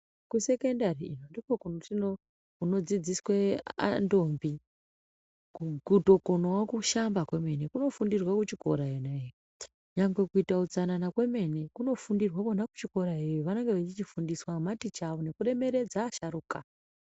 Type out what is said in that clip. Kusekendari ndokunodzidziswe antombi kutokonawa kushamba komene, kunofundirwa kuchikora yena yee. Nyangwe kuita hutsanana kwemene kunofundirwa kona kuchikorayeye vanofundiswa ngemateacher avo ngekuremeredza asharukwa.